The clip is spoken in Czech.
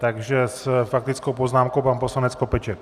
Takže s faktickou poznámkou pan poslanec Skopeček.